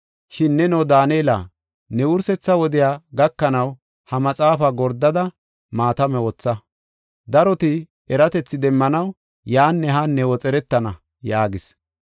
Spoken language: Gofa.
Shin neno Daanela, ne wursetha wodey gakanaw, ha maxaafa gordada, maatame wotha. Daroti eratethi demmanaw yaanne haanne woxeretana” yaagis.